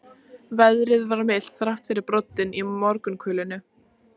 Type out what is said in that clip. Veðrið var milt, þrátt fyrir broddinn í morgunkulinu.